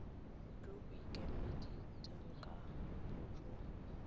jo bo ikemetseng ka bojona